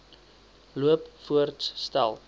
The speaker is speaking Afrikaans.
loop voorts stel